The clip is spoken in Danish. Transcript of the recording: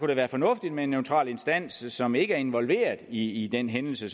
det være fornuftigt med en neutral instans som ikke er involveret i den hændelse